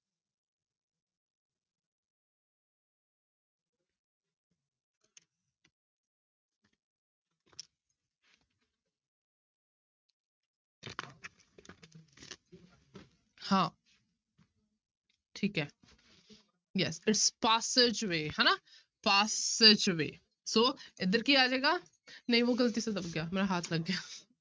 ਹਾਂ ਠੀਕ ਹੈ yes it's passageway ਹਨਾ passageway ਸੋ ਇੱਧਰ ਕੀ ਆ ਜਾਏਗਾ ਨਹੀਂ ਵੋਹ ਗ਼ਲਤੀ ਸੇ ਦਬ ਗਿਆ ਮੇਰਾ ਹੱਥ ਲੱਗ ਗਿਆ